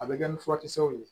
A bɛ kɛ ni furakisɛw ye